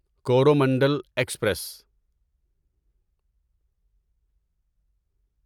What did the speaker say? Coromandel express